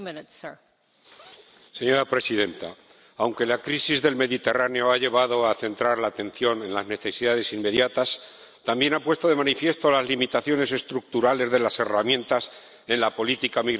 Señora Presidenta, aunque la crisis del Mediterráneo ha llevado a centrar la atención en las necesidades inmediatas, también ha puesto de manifiesto las limitaciones estructurales de las herramientas en la política migratoria de la Unión.